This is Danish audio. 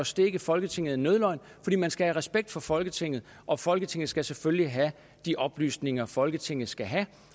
stikke folketinget en nødløgn fordi man skal have respekt for folketinget og folketinget skal selvfølgelig have de oplysninger folketinget skal have